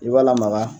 I b'a lamaga